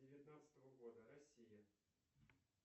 девятнадцатого года россия